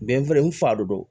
Bɛn wɛrɛ n fa de don